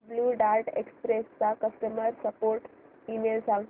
blue Dart Express चा customer support email सांग